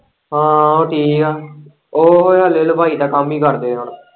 ਹਾਂ ਉਹ ਠੀਕ ਏ ਉਹ ਹਲੇ ਹਲਵਾਈ ਦਾ ਕੰਮ ਹੀ ਕਰਦੇ ਹੁਣ।